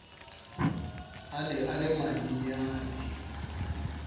a ne a le manyenyane